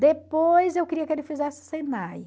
Depois eu queria que ele fizesse Senai.